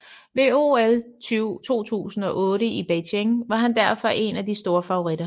Ved OL 2008 i Beijing var han derfor en af de store favoritter